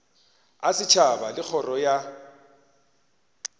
a setšhaba le kgoro ya